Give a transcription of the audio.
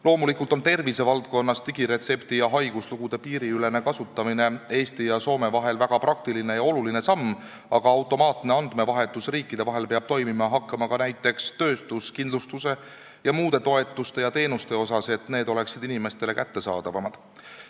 Loomulikult on tervise valdkonnas digiretseptide ja haiguslugude piiriülene kasutamine Eesti ja Soome vahel väga praktiline ja oluline samm, aga automaatne andmevahetus riikide vahel peab toimima hakkama ka näiteks töötuskindlustuse ja muude toetuste ja teenuste osas, et need oleksid inimestele kättesaadavamad.